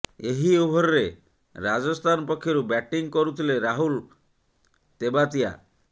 ଏହି ଓଭରରେ ରାଜସ୍ଥାନ ପକ୍ଷରୁ ବ୍ୟାଟିଂ କରୁଥିଲେ ରାହୁଲ ତେବାତିଆ